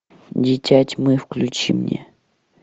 дитя тьмы включи мне